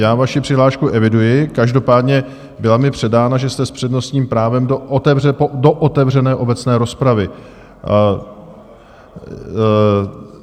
Já vaši přihlášku eviduji, každopádně byla mi předána, že jste s přednostním právem do otevřené obecné rozpravy.